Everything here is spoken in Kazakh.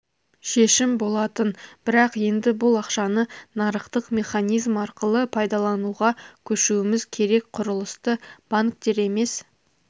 шешім болатын бірақ енді бұл ақшаны нарықтық механизм арқылы пайдалануға көшуіміз керек құрылысты банктер емес